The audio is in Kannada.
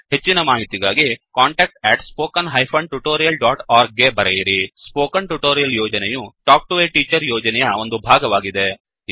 ಹೆಚ್ಚಿನ ಮಾಹಿತಿಗಾಗಿ contactspoken tutorialorg ಗೆ ಬರೆಯಿರಿ ಸ್ಪೋಕನ್ ಟ್ಯುಟೋರಿಯಲ್ ಯೋಜನೆಯು ಟಾಕ್ ಟು ಎ ಟೀಚರ್ ಯೋಜನೆಯ ಒಂದು ಭಾಗವಾಗಿದೆ